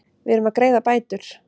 Við erum að greiða bætur.